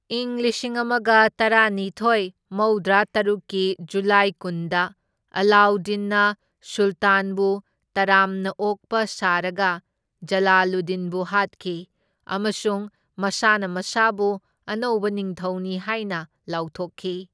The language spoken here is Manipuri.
ꯏꯪ ꯂꯤꯁꯤꯡ ꯑꯃꯒ ꯇꯔꯥꯅꯤꯊꯣꯢ ꯃꯧꯗ꯭ꯔꯥ ꯇꯔꯨꯛꯀꯤ ꯖꯨꯂꯥꯏ ꯀꯨꯟꯗ, ꯑꯂꯥꯎꯗꯤꯟꯅ ꯁꯨꯜꯇꯥꯟꯕꯨ ꯇꯔꯥꯝꯅ ꯑꯣꯛꯄ ꯁꯥꯔꯥꯒ ꯖꯂꯥꯂꯨꯗꯗꯤꯟꯕꯨ ꯍꯥꯠꯈꯤ, ꯑꯃꯁꯨꯡ ꯃꯁꯥꯅ ꯃꯁꯥꯕꯨ ꯑꯅꯧꯕ ꯅꯤꯡꯊꯧꯅꯤ ꯍꯥꯏꯅ ꯂꯥꯎꯊꯣꯛꯈꯤ꯫